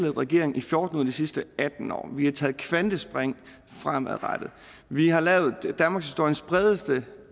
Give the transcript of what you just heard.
regering i fjorten ud af de sidste atten år vi har taget kvantespring fremadrettet vi har lavet danmarkshistoriens bredeste